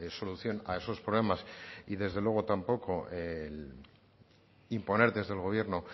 solución a esos problemas y desde luego tampoco imponer desde el gobierno